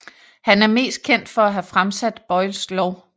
Han er mest kendt for at have fremsat Boyles lov